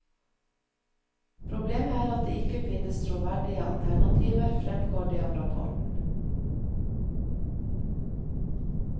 Problemet er at det ikke finnes troverdige alternativer, fremgår det av rapporten.